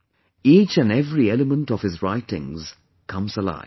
Each & every element of his writings comes alive